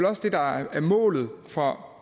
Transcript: også det der er målet for